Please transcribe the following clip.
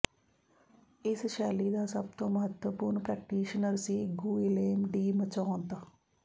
ਇਸ ਸ਼ੈਲੀ ਦਾ ਸਭ ਤੋਂ ਮਹੱਤਵਪੂਰਨ ਪ੍ਰੈਕਟੀਸ਼ਨਰ ਸੀ ਗੁਇਲੇਮ ਡੀ ਮਚੌਤ